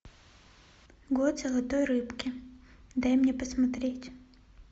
год золотой рыбки дай мне посмотреть